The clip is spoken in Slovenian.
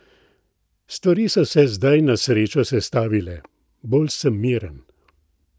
Stvari so se zdaj, na srečo, sestavile: "Bolj sem miren.